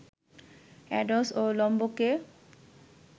ads ও লাম্বোকে